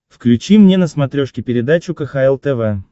включи мне на смотрешке передачу кхл тв